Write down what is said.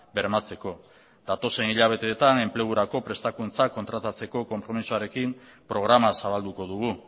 bermatzeko datozen hilabeteetan enplegurako prestakuntzak kontratatzeko konpromisoarekin programa zabalduko dugu